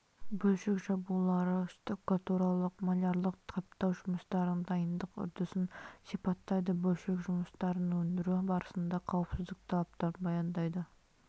бөлшек жабулары штукатуралық малярлық қаптау жұмыстарының дайындық үрдісін сипаттайды бөлшек жұмыстарын өндіру барысында қауіпсіздік талаптарын баяндайды